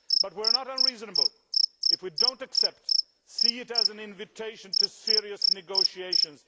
But we are not unreasonable. If we do not accept, let us see it as an invitation to serious negotiations.